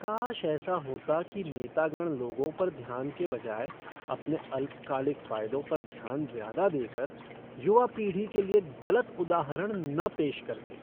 काश ऐसा होता कि नेतागण लोगों पर ध्यान के बजाय अपने अल्पकालिक फायदों पर ध्यान ज्यादा देकर युवा पीढ़ी के लिए गलत उदाहरण न पेश करते।